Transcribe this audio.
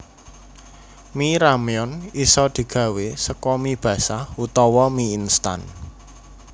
Mi ramyeon isa digawé saka mi basah utawa mi instan